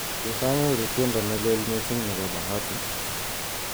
Tos anyor tiendo neleel mising' nebo Bahati